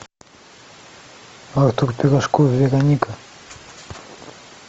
артур пирожков вероника